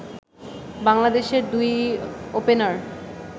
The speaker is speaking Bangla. বাংলাদেশের দুই ওপেনার